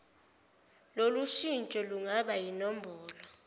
lolushintsho lungaba yinombholo